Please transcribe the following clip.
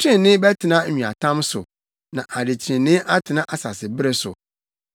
Trenee bɛtena nweatam so na adetreneeyɛ atena asasebere so.